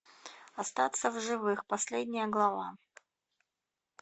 остаться в живых последняя глава